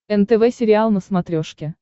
нтв сериал на смотрешке